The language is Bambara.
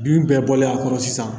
Bin bɛɛ bɔlen a kɔrɔ sisan